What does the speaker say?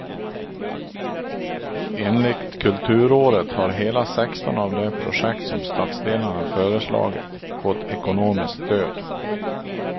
Enligt kulturåret har hela sexton av de projekt som stadsdelarna föreslagit fått ekonomiskt stöd.